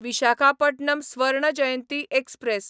Visakhapatnam Swarna Jayanti express